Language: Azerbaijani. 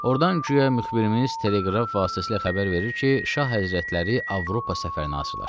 Ordan guya müxbirimiz Teleqraf vasitəsilə xəbər verir ki, şah həzrətləri Avropa səfərinə hazırlaşır.